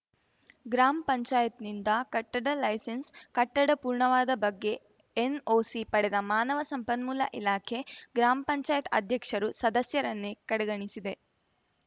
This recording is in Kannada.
ಗ್ರಾಮ್ ಪಂಚಾಯತ್ ನಿಂದ ಕಟ್ಟಡ ಲೈಸೆನ್ಸ್ ಕಟ್ಟಡ ಪೂರ್ಣವಾದ ಬಗ್ಗೆ ಎನ್ ಓ ಸಿ ಪಡೆದ ಮಾನವ ಸಂಪನ್ಮೂಲ ಇಲಾಖೆ ಗ್ರಾಮ್ ಪಂಚಾಯತ್ ಅದ್ಯಕ್ಷರು ಸದಸ್ಯರನ್ನೇ ಕಡೆಗಣಿಸಿದೆ